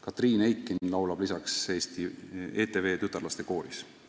Katriin Eikin laulab ETV tütarlastekooris.